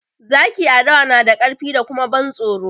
Zaki a dawa na da ƙarfi kuma da ban tsoro